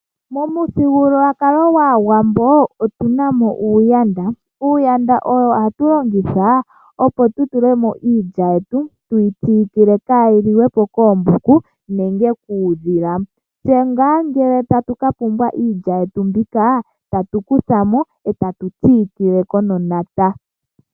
Momuthigululwakalo gwAawambo, otuna mo omashisha. Omashisha ogo hatu longitha opo tu tule mo iilya yetu, tuyi siikile kaayi liwe po koombuku, nenge kuudhila. Tse ngele tatu ka pumbwa iilya yetu mbyoka, ohatu kuta mo eta tu siikile ko noshimpato.